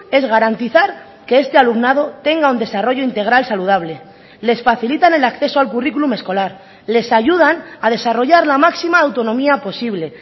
es garantizar que este alumnado tenga un desarrollo integral saludable les facilitan el acceso al currículum escolar les ayudan a desarrollar la máxima autonomía posible